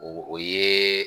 O ye